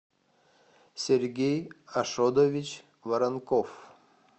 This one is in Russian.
сергей ашодович воронков